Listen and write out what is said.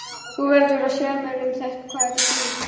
Þú verður að segja mér um hvað þetta snýst.